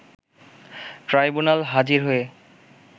tribunal হাজির হয়ে